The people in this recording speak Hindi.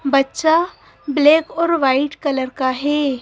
बच्चा ब्लैक और वाइट कलर का है।